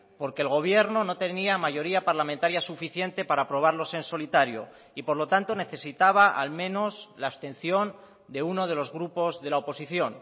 porque el gobierno no tenía mayoría parlamentaria suficiente para aprobarlos en solitario y por lo tanto necesitaba al menos la abstención de uno de los grupos de la oposición